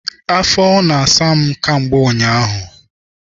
Afọ na-asa m kamgbe ụnyaahụ.